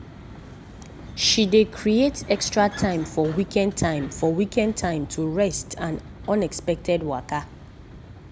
she dey creat extra time for weekend time for weekend to rest and unexpected waka.